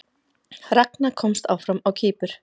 Ragna komst áfram á Kýpur